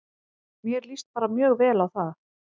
Mér líst bara mjög vel á það.